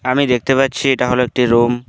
আমি দেখতে পাচ্ছি এটা হল একটি রুম ।